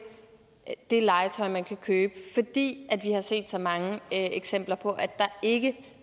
det legetøj man kan købe fordi vi har set så mange eksempler på at der ikke